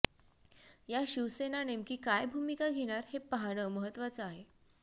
या शिवसेना नेमकी काय भूमिका घेणार हे पाहणं महत्वाचं आहे